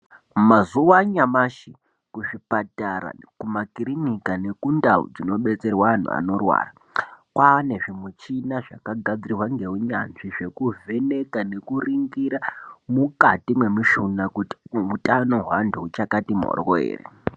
Mazuva anyamashi muzvipatara makirinika ngemundau dzinobetserwa antu anorwara kwava nezvimuchini zvakagadzirwa ngeunyanzvi zvekuvheneka ngekuningira mukati memushina kuti hutano hwevantu huchakati mhoryo here.